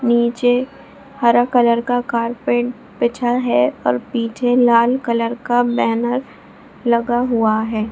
नीचे हरा कलर का कारपेट बिछा है और पीछे लाल कलर का बैनर लगा हुआ है।